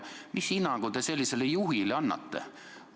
Mis hinnangu te sellisele juhile annate?